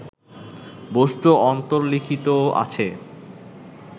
বস্তু অন্তর্লিখিত আছে